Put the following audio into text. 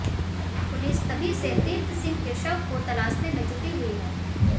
police तभी से तीर्थ सिंह के शव को तलाशने में जुटी हुई है